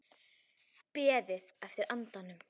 Beðið eftir andanum